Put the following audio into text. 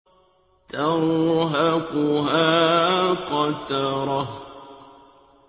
تَرْهَقُهَا قَتَرَةٌ